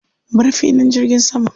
Bar filin jirgin saman.